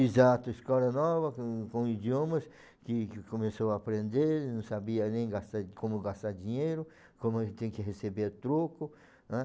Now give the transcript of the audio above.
Exato, escola nova, com com idiomas, que que começou a aprender, não sabia nem gastar como gastar dinheiro, como tem que receber troco. Ãh